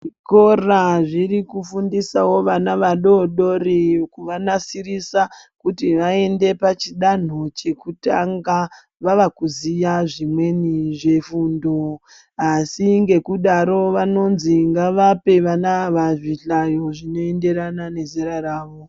Zvikora zvirikufundisawo vana vadodori, kuvanasirisa kuti vaende pachidanho chekutanga vavakuziya zvimweni zvefundo, asi ngekudaro vanonzi ngavape vana ava zvihlayo zvinoenderana nezera ravo.